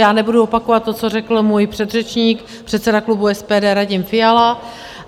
Já nebudu opakovat to, co řekl můj předřečník, předseda klubu SPD Radim Fiala.